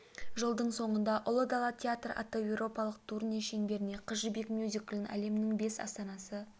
жылдың соңында ұлы дала театры атты еуропалық турне шеңберінде қыз жібек мюзиклін әлемнің бес астанасы